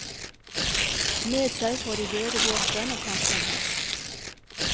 Med seg får de døde våpen og kanskje en hest.